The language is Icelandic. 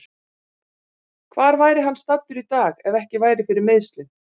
Hvar væri hann staddur í dag ef ekki væri fyrir meiðslin?